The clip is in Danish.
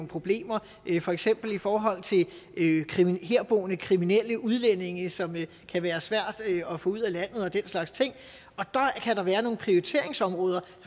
problemer for eksempel i forhold til herboende kriminelle udlændinge som kan være svære at få ud af landet og den slags ting og der kan der være nogle prioriteringsområder